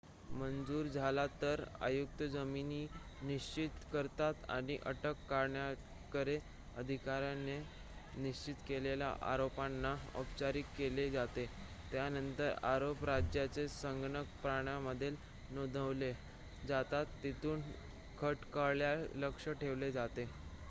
मंजूर झाला तर आयुक्त जामीन निश्चित करतात आणि अटक करणाऱ्या अधिकाऱ्याने निश्चित केलेल्या आरोपांना औपचारीक केले जाते त्यानंतर आरोप राज्याच्या संगणक प्रणालीमध्ये नोंदवले जातात तिथून खटल्याकडे लक्ष ठेवले जाते